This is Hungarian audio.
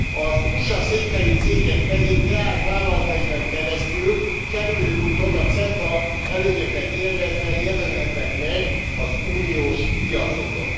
Az USA székhelyű cégek pedig leányvállalataikon keresztül, kerülő úton, a CETA előnyöket élvezve jelenhetnek meg az uniós piacokon.